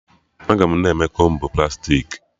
Aga na-eme Kombu plastiki